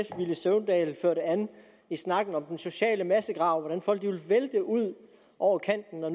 villy søvndal førte an i snakken om den sociale massegrav og hvordan folk ville vælte ud over kanten når